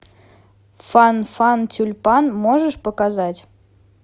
фан фан тюльпан можешь показать